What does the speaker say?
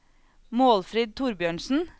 Målfrid Thorbjørnsen